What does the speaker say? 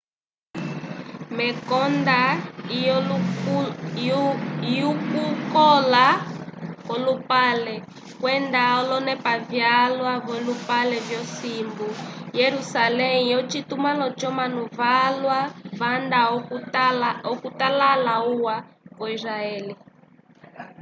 mekonda lyokukola kwolupale kwenda olonepa vyalwa vyolupale vyosimbu jerusalém ocitumãlo c'omanu valwa vanda okutala uwa wo israel